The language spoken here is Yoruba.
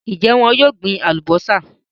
Ń jẹ́ wọn yìí ó gbin àwọn Alubọ́sá náà